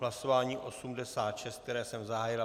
Hlasování 86, které jsem zahájil.